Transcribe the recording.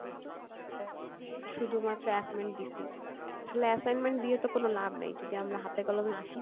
আর শুধু মাএ assignment দিসি, আসলে assignment দিয়ে তো কোনো লাভ নেই যদি আমরা হাতে কলমে না